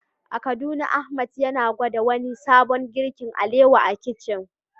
A Kaduna Ahmad yana gwada wani sabon girkin alewa a kicin.